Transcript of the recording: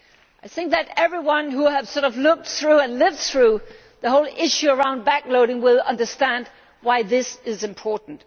I think that everyone who has looked through and lived through the whole issue surrounding back loading will understand why this is important.